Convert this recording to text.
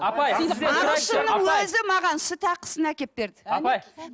апай ағылшыннын өзі маған сүт ақысын әкеліп берді апай